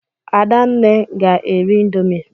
Adanne ga-eri ịndomii.